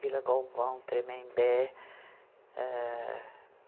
Vila Galvão, Tremembé. âh